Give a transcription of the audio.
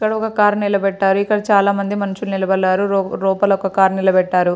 ఇక్కడ ఒక కార్ నిలబెట్టారు. ఇక్కడ చాలా మంది మనుషులు నిలబడినారు. లో-లోపల ఒక కార్ నిలబెట్టారు.